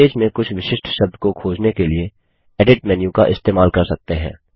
webpage में कुछ विशिष्ट शब्द को खोजने के लिए एडिट मेन्यू का इस्तेमाल कर सकते हैं